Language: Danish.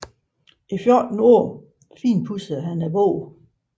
I fjorten år finpudsede han bogen